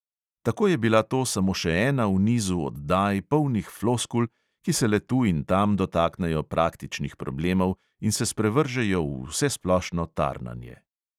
Tako je bila to samo še ena v nizu oddaj, polnih floskul, ki se le tu in tam dotaknejo praktičnih problemov in se sprevržejo v vsesplošno tarnanje.